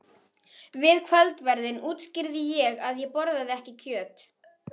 Við kvöldverðinn útskýrði ég að ég borðaði ekki kjöt.